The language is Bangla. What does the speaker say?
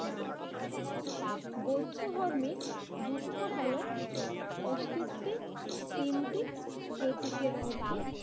না। বৌদ্ধ ধর্মে দুঃখ হলো অস্তিত্বের তিনটি প্রতীকের মধ্যে